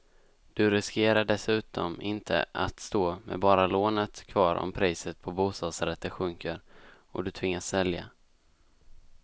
Du riskerar dessutom inte att stå med bara lånet kvar om priset på bostadsrätter sjunker och du tvingas sälja.